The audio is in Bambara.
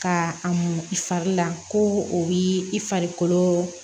Ka a mun i fari la ko o b'i i farikolo